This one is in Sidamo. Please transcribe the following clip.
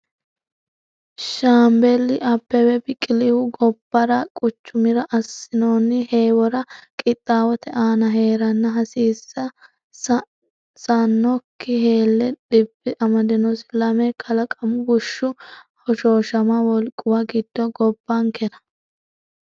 Shaambeli Abbebe Biqilihu gobbara quchumira assinoonni heewora qixxaawote aana hee’reenna hasiis sannokki hellee dhibbi amadinosi, Lame kalaqamu bushshu hoshooshama wolquwa giddo gobbankera?